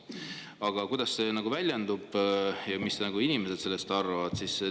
Aga kuidas see väljendub ja mis inimesed sellest arvavad?